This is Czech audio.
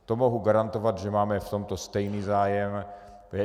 To mohu garantovat, že máme v tomto stejný zájem.